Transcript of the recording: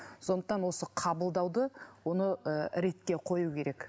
сондықтан осы қабылдауды оны ы ретке қою керек